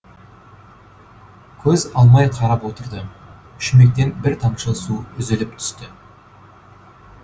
көз алмай қарап отырды шүмектен бір тамшы су үзіліп түсті